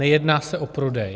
Nejedná se o prodej.